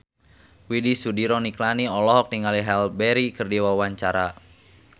Widy Soediro Nichlany olohok ningali Halle Berry keur diwawancara